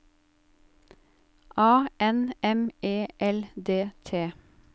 A N M E L D T